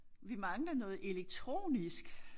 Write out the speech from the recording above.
Vi mangler noget elektronisk